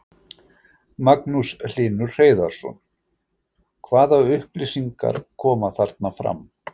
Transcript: Magnús Hlynur Hreiðarsson: Hvaða upplýsingar koma þarna fram?